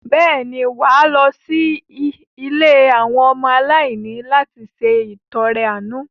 Bẹ́ẹ̀ ni, wà á lọ sí ilé àwọn ọmọ aláìní òbí láti ṣe ìtọrẹ-àánú.